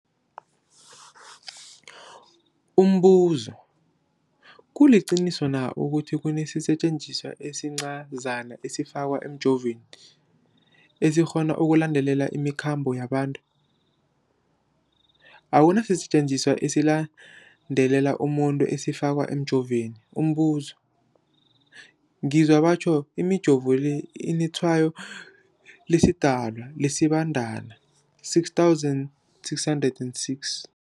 Umbuzo, kuliqiniso na ukuthi kunesisetjenziswa esincazana esifakwa emijovweni, esikghona ukulandelela imikhambo yabantu? Akuna sisetjenziswa esilandelela umuntu esifakwe emijoveni. Umbuzo, ngizwa batjho imijovo le inetshayo lesiDalwa, lesiBandana 666.